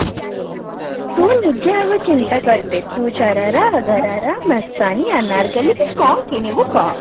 ତୁ ନିଜେ ଆଗ ଚିନ୍ତା କରିଦେ ତୁ ଶରାରା ଘରାରା ମସ୍ତାନି ଅନାରକଲ୍ଲୀ କି କଣ କିଣିବୁ କହ